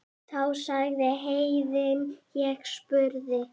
Þá sagði Héðinn og spurði